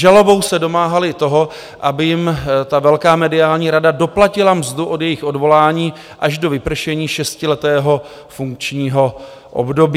Žalobou se domáhali toho, aby jim ta velká mediální rada doplatila mzdu od jejich odvolání až do vypršení šestiletého funkčního období.